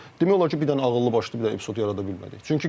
Demək olar ki, bir dənə ağıllı başlı bir dənə epizod yarada bilmədik.